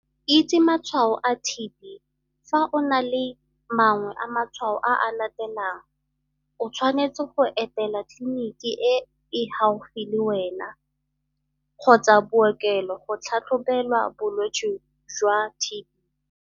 Itse matshwao a TB Fa o na le mangwe a matshwao a a latelang, o tshwanetse go etela kliniki e e gaufi le wena kgotsa bookelo go tlhatlhobelwa bolwetse jwa TB -